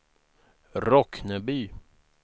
Rockneby